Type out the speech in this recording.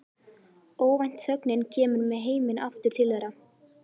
Óvænt þögnin kemur með heiminn aftur til þeirra.